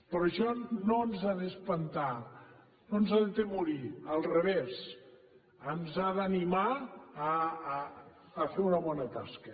però això no ens ha d’espantar no ens ha d’atemorir al revés ens ha d’animar a fer una bona tasca